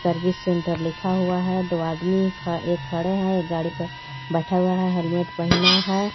Service centre लिखा हुआ है दो आदमी ख-एक खड़े हैं गाड़ी पर बैठा हुआ है हेलमेट पहना है.